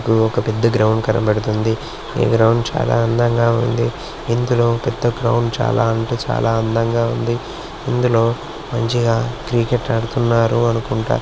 ఇగో ఒక పెద్ద గ్రౌండ్ కనపడుతుంది. ఈ గ్రౌండ్ చాలా అందంగా ఉంది. ఇందులో పెద్ద గ్రౌండ్ చాలా అంటే చాలా అందంగా ఉంది. ఇందులో మంచిగా క్రికెట్ ఆడుతున్నారు అనుకుంటా.